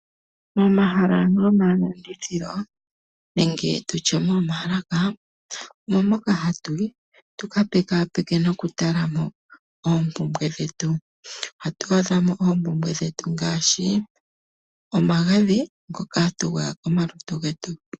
Momahala gomalandithilo nenge momaalaka omo moka hatu yi tuka pekaapeke nokutala mo oompumbwe dhetu. Ohatu adhamo oompumbwe dhetu ngaashi omagadhi gokugwaya.